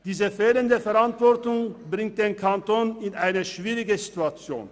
Diese fehlende Verantwortung bringt den Kanton in eine schwierige Situation.